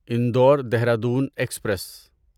Indore Dehradun express